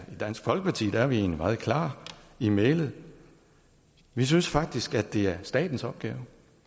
dansk folkeparti er vi egentlig meget klare i mælet vi synes faktisk at det er statens opgave